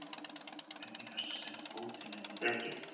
Hvernig gastu sett fótinn undir dekkið?